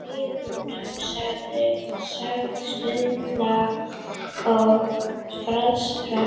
Hlýnun sögð stuðla að frosthörkum